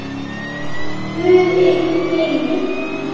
Guð ykkur geymi.